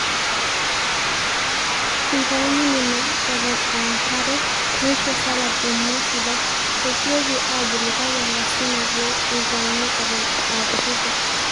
eitauni nena eton aankera neisho salad emwa sidai. esioki aabulu kake lasima pee eitauni eton aakutitik